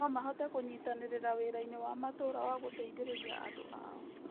No mahote kũnyitanĩra wĩra-inĩ wa matũũra wa gũteithĩrĩria andũ ao.